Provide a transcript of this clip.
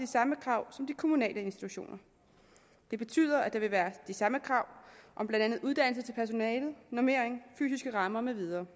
samme krav som de kommunale institutioner det betyder at der vil være de samme krav om blandt andet uddannelse til personalet normering fysiske rammer med videre